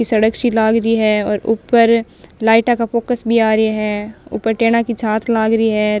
ये सड़क सी लाग रही है और ऊपर लाइटा का फोकस भी आ रहिया है ऊपर टेना की छात लाग री है।